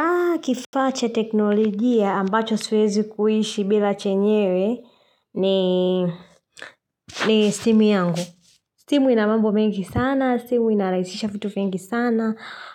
Aah kifaa cha teknologia ambacho siwezi kuishi bila chenyewe ni simu yangu. Simu ina mambo mengi sana, simu inarahisisha vitu vingi sana,